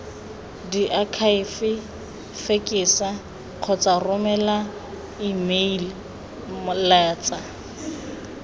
diakhaefe fekesa kgotsa romela emeilatsa